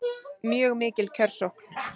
Mjög mikill kjörsókn